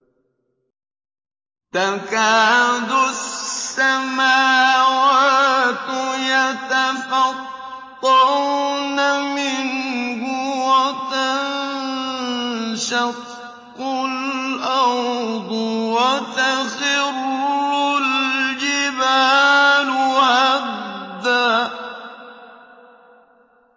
تَكَادُ السَّمَاوَاتُ يَتَفَطَّرْنَ مِنْهُ وَتَنشَقُّ الْأَرْضُ وَتَخِرُّ الْجِبَالُ هَدًّا